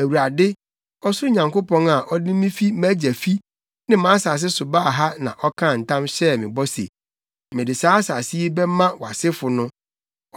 Awurade, ɔsoro Nyankopɔn a ɔde me fi mʼagya fi ne mʼasase so baa ha na ɔkaa ntam hyɛɛ me bɔ se, ‘Mede saa asase yi bɛma wʼasefo no,’